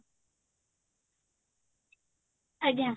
ଆଜ୍ଞା